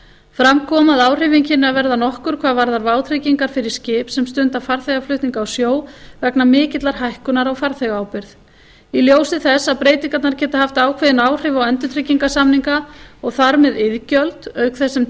fram kom að áhrifin kynnu að verða nokkur hvað varðar vátryggingar fyrir skip sem stunda farþegaflutninga á sjó vegna mikillar hækkunar á farþegaábyrgð í ljósi þess að breytingarnar geta haft ákveðin áhrif á endurtryggingarsamninga og þar með iðgjöld auk þess sem